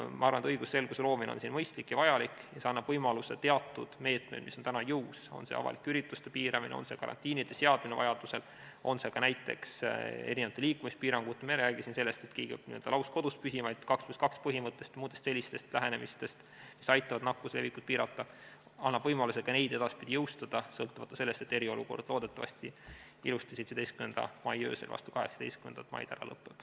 Ma arvan, et õigusselguse loomine on siin mõistlik ja vajalik ning see annab võimaluse teatud meetmeid, mis on täna jõus – on see avalike ürituste piiramine, on see karantiini seadmine vajaduse korral, on need ka näiteks liikumispiirangud, kusjuures me ei räägi siin sellest, et keegi peaks lausa kodus püsima, vaid 2 + 2 põhimõttest ja muudest sellistest lähenemistest, mis aitavad nakkuse levikut piirata –, edaspidi jõustada sõltumata sellest, et eriolukord loodetavasti ilusasti 17. mai öösel vastu 18. maid ära lõpeb.